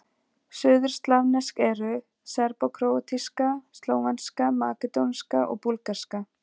Suðurslavnesk eru: serbókróatíska, slóvenska, makedónska og búlgarska.